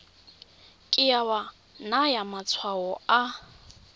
ke wa naya matshwao a